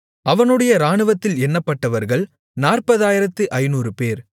அவனுடைய இராணுவத்தில் எண்ணப்பட்டவர்கள் 40500 பேர்